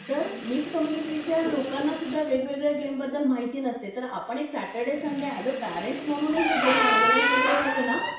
तर मिक्स कम्युनिटीच्या लोकांनासुद्धा वेगवेगळ्या गेम बद्दल माहिती नसते तर आपण एक Saturday Sunday as a parents म्हणूनही हे गेम ऑर्गनाइझ वगैरे केले ना